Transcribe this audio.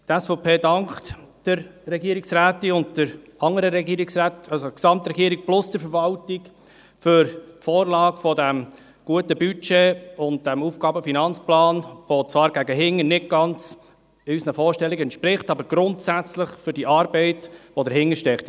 Die SVP dankt der Regierungsrätin sowie dem gesamten Regierungsrat und der Verwaltung für die Vorlage dieses guten Budgets und dieses AFP, der zwar gegen hinten nicht ganz unseren Vorstellungen entspricht, aber wir danken grundsätzlich für die Arbeit, die dahintersteckt.